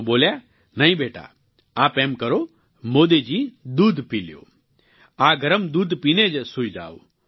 તેઓ બોલ્યા નહીં બેટા આપ એમ કરો મોદી જી દૂધ પી લ્યો આ ગરમ દૂધ પી ને જ સૂઈ જાઓ